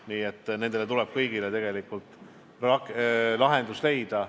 Kõigile nendele probleemidele tuleb tegelikult lahendus leida.